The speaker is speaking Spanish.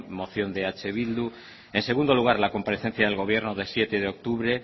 moción de eh bildu en segundo lugar la comparecencia del gobierno del siete de octubre